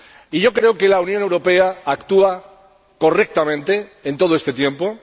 Y yo creo que la Unión Europea ha actuado correctamente en todo este tiempo.